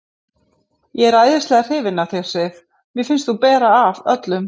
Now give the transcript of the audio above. Ég er æðislega hrifinn af þér, Sif. mér finnst þú bera af öllum.